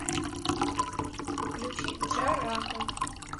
включи джарахов